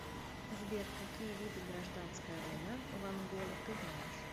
сбер какие виды гражданская война в анголе ты знаешь